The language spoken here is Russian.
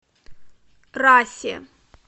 расе